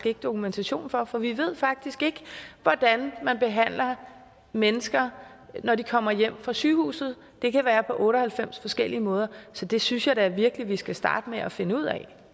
ikke dokumentation for for vi ved faktisk ikke hvordan man behandler mennesker når de kommer hjem fra sygehuset det kan være på otte og halvfems forskellige måder så det synes jeg da virkelig vi skal starte med at finde ud af